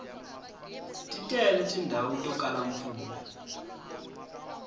ti tele tindhawu to kala mpfula